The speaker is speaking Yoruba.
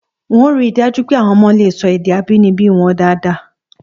N óò ri dáj́ú pé àwo̩n o̩mo̩ lè so̩ èdè abínibí wo̩n dáadáa